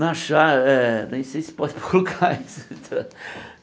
Na shar eh nem sei se pode colocar isso.